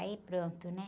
Aí pronto, né?